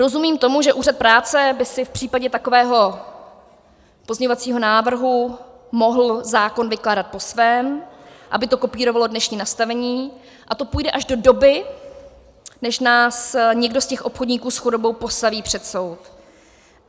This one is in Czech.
Rozumím tomu, že Úřad práce by si v případě takového pozměňovacího návrhu mohl zákon vykládat po svém, aby to kopírovalo dnešní nastavení, a to půjde až do doby, než nás někdo z těch obchodníků s chudobou postaví před soud.